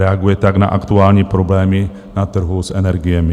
Reaguje tak na aktuální problémy na trhu s energiemi.